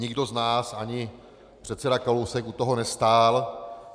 Nikdo z nás, ani předseda Kalousek, u toho nestál.